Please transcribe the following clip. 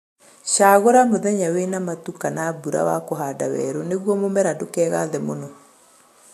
Shagũla mũthenya wĩna matu kana mburã wa kũhanda werũ nĩguo mũmera ndũkegathe mũno